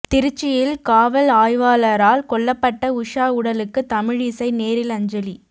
திருச்சியில் காவல் ஆய்வாளரால் கொல்லப்பட்ட உஷா உடலுக்கு தமிழிசை நேரில் அஞ்சலி